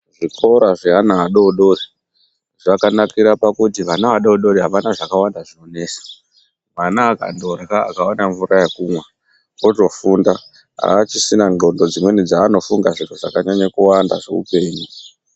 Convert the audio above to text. Zvikora zveana adodori zvakanakira pakuti ana adodori avana zvakawanda zvinonesa, mwana akandorya akaona mvura yekumwa otofunda aachidina ndxondo dzimweni dzaanofunga zviro zvakanyanya kuwanda zveupenyu.